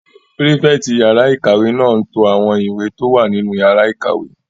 Pírífẹ̀tì yàrá-ìkàwé náà n to àwọn ìwé tó wà nínú yàrá ìkàwé